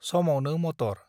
समावनो मटर